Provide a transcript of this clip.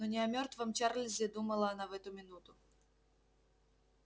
но не о мёртвом чарлзе думала она в эту минуту